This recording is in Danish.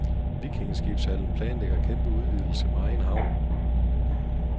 Vikingeskibshallen planlægger kæmpe udvidelse med egen havn.